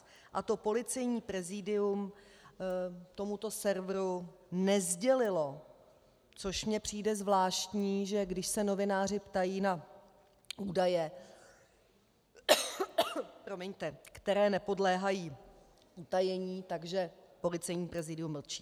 To Policejní prezidium tomuto serveru nesdělilo, což mi přijde zvláštní, že když se novináři ptají na údaje, které nepodléhají utajení, tak Policejní prezidium mlčí.